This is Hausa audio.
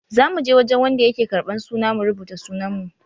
Za muje wajen wanda yake ƙarban suna mu rubuta sunan mu.